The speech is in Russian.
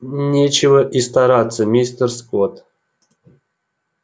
нечего и стараться мистер скотт